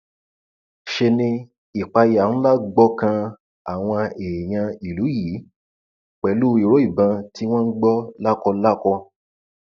ṣe ni ìpayà ńlá gbọkàn àwọn èèyàn ìlú yìí pẹlú ìró ìbọn tí wọn ń gbọ lákọlákọ